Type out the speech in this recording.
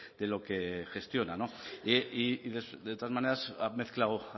de lo que gestiona y de todas maneras ha mezclado